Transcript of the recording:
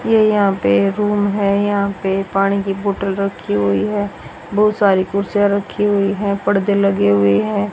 ये यहां पे रूम है यहां पे पानी की बॉटल रखी हुई है बहुत सारी कुर्सियां रखी हुई है पर्दे लगे हुए हैं।